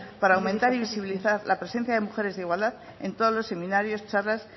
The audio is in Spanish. para aumentar y visibilizar la presencia de mujeres en igualdad en todos los seminarios charlas